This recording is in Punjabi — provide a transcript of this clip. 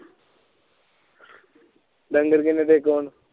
ਡੰਗਰ ਕੀਨੇ ਤੇਰੇਕੋ ਹੁਣ